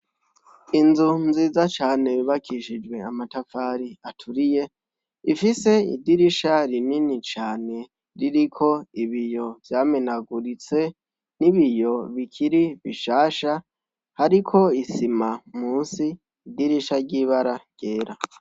Inzu nziza cane bibakishijwe amatafari aturiye ifise idirisha rinini cane ririko ibiyo vyamenaguritse n'ibiyo bikiri bishasha hariko isima musi idirisha ry'ibara ryera.